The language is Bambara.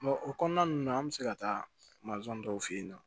o kɔnɔna ninnu na an bɛ se ka taa masɔn dɔw fɛ yen nɔ